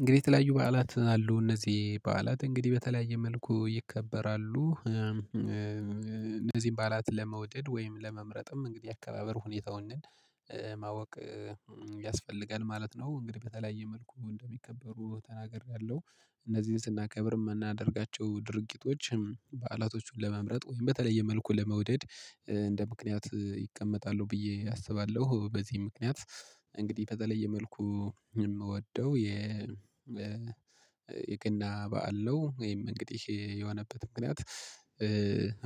እንግዲህ የተለያዩ በዓላት አሉ። እነዚህ በዓላት እንግዲህ በተለያየ መልኩ ይከበራሉ። እነዚህን ባዕላት ለመውደድ ወይም ለመምረጥም እንግዲህ የአከባበር ሁኔታውን ማወቅ ያስፈልጋል ማለት ነው። እንግዲህ በተለያየ መልኩ እንደሚከበሩ ተናግሬያለሁ። እነዚህን ስናከብር የምናደርጋቸው ድርጊቶች በዓላቶቹን ለመምረጥ ወይም በተለየ መልኩ ለመውደድ እንደ ምክንያት ይቀመጣሉ ብዬ አስባለሁ። በዚህም ምክንያት እንግዲህ በተለየ መልኩ የምወደው የ የገና በዓል ነው። ይህም እንግዲህ የሆነበት ምክንያት